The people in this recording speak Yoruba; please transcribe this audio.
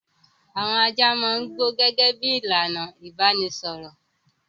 Àwọn ajá máa ń gbó gẹ́gẹ́ bí i ìlànà ìbanisọ̀rọ̀.